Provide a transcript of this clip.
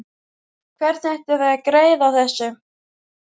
Hvernig ætlið þið að græða á þessu?